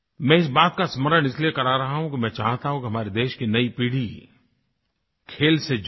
मैं इस बात का स्मरण इसलिए करा रहा हूँ कि मैं चाहता हूँ कि हमारे देश की नई पीढ़ी खेल से जुड़े